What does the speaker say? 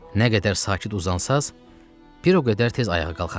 Nə qədər sakit uzansaz, bir o qədər tez ayağa qalxarsız.